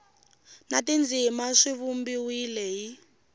na tindzimana swi vumbiwile hi